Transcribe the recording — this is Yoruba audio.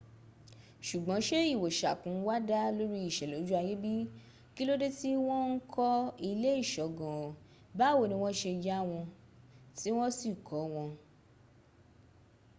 ṣùgbọ́n ṣé ìwoṣàkun wa dá lórí ìṣẹ̀lẹ̀ ojú ayé bi? kí ló dé tí wọ́n ń kọ ilé ìṣọ́ gan an? báwo ni wọ́n ṣe yà wọ́n tí wọ́ sì kọ́ wọn?